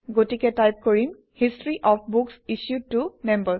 গতিকে টাইপ কৰিম - history of books issued ত Members